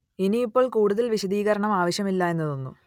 ഇനി ഇപ്പോൾ കൂടുതൽ വിശദീകരണം ആവശ്യമില്ല എന്നു തോന്നുന്നു